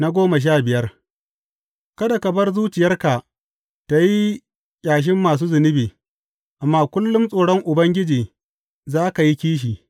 Faɗi goma sha biyar Kada ka bar zuciyarka tă yi ƙyashin masu zunubi, amma kullum tsoron Ubangiji za ka yi kishi.